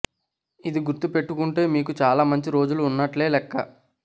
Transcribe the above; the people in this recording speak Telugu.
ఇది గుర్తు పెట్టుకుంటే మీకు చాలా మంచి రోజులు ఉన్నట్లే లెక్క